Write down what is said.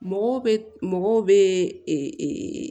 Mɔgɔw bɛ mɔgɔw bɛ